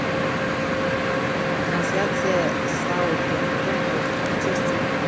трансляция саутгемптон против манчестера